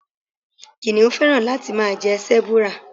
Kìnnìún féràn láti máa jẹ Sẹ́búúrà.